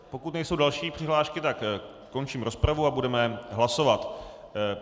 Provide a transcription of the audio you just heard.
Pokud nejsou další přihlášky, tak končím rozpravu a budeme hlasovat.